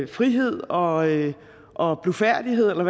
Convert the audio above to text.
frihed og og blufærdighed eller